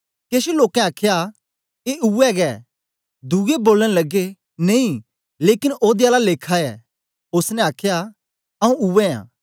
केछ लोकें आखया ए उवै गै दुए बोलन लगे नेई लेकन ओदे आला लेखा ऐ ओसने आखया आऊँ उवै आं